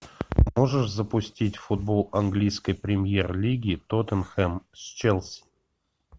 можешь запустить футбол английской премьер лиги тоттенхэм с челси